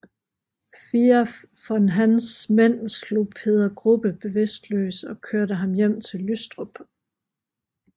Fire af von Hahns mænd slog Peder Grubbe bevidstløs og kørte ham hjem til Lystrup